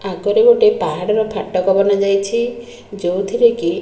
ଆଗରେ ଗୋଟେ ପାହାଡର ଫାଟକ ବନାଯାଇଛି ଯୋଉଥିରେ କି --